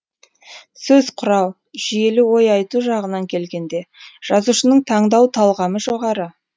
сөз құрау жүйелі ой айту жағынан келгенде жазушының таңдау талғамы жоғары